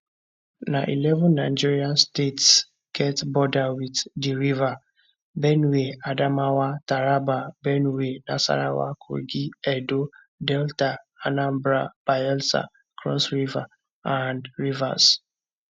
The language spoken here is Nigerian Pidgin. na eleven nigeria states get border wit di river benue adamawa taraba benue nasarawa kogi edo delta anambra bayelsa cross river and rivers